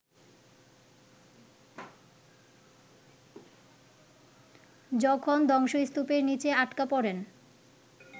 যখন ধ্বংসস্তূপের নিচে আটকা পড়েন